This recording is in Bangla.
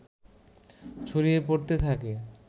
ছড়িয়ে পড়তে থাকে